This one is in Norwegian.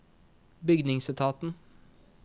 bygningsetaten